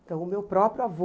Então o meu próprio avô...